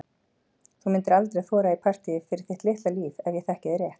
Þú myndir aldrei þora í partíið fyrir þitt litla líf ef ég þekki þig rétt.